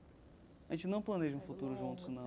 A gente não planeja um futuro juntos, não.